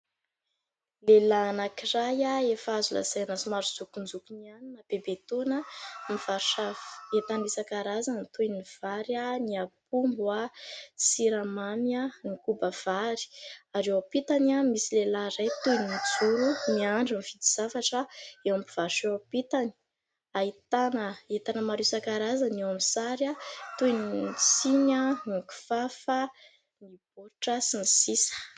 Lehilahy anankiray efa azo lazaina somary zokinjokiny ihany na bebe taona nivarotra entana isan-karazany toy : ny vary, ny apombo, siramamy, ny kobavary ary eo ampitany misy lehilahy iray toy nijoro niandry ny mividy zavatra eo am-pivarotana ampitany : ahitana entana maro isan-karazany eo amin'ny sary toy ny siny, ny kifafa, ny baoritra sy ny sisa.